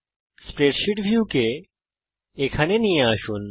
spreadsheet ভিউকে এখানে নিয়ে আসুন